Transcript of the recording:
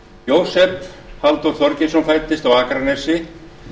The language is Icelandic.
jósef halldór þorgeirsson fæddist á akranesi